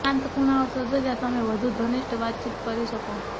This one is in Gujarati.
શાંત ખૂણાઓ શોધો જ્યાં તમે વધુ ઘનિષ્ઠ વાતચીત કરી શકો